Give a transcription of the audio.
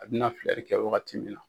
A bɛna filɛri kɛ wagati min na.